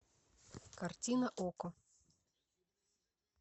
картина окко